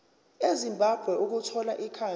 ezimbabwe ukuthola ikhambi